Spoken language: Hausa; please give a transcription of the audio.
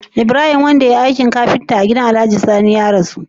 Ibrahim wanda yayi aikin kafinta a gidan alhaji sani ne ya rasu?